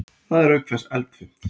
Það er auk þess eldfimt.